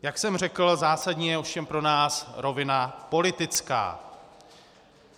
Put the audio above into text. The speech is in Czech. Jak jsem řekl, zásadní je ovšem pro nás rovina politická.